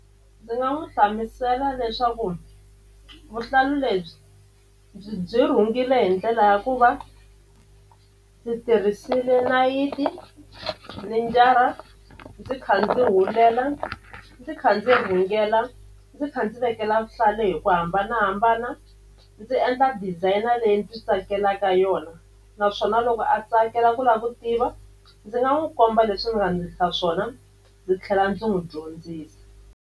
Ndzi nga n'wi hlamusela leswaku vuhlalu lebyi byi byi rhungile hi ndlela ya ku va ndzi tirhisile nayiti ni njara ndzi kha ndzi hulela ndzi kha ndzi rhungela ndzi kha ndzi vekela vuhlalu hi ku hambanahambana ndzi endla designer leyi ndzi tsakelaka yona naswona loko a tsakela ku lava ku tiva ndzi nga n'wi komba leswi ni nga ndlisa swona ndzi tlhela ndzi n'wi dyondzisa.